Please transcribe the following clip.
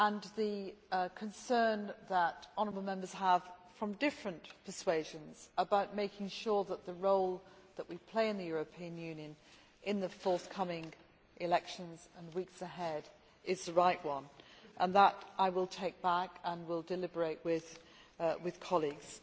The concern that honourable Members from different persuasions have about making sure that the role that we play in the European Union in the forthcoming elections and the weeks ahead is the right one. That I will take back and will deliberate on with colleagues.